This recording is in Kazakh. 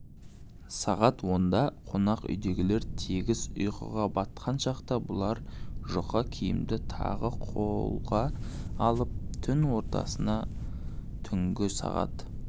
сағат онда қонақ үйдегілер тегіс ұйқыға батқан шақта бұлар жұқа киімді тағы қолға алып түн ортасына түнгі сағат